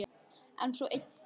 En svo einn daginn.